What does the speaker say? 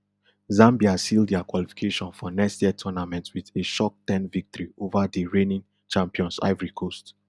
zambia seal dia qualification for next year tournament wit a shock ten victory ova di reigning champions ivory coast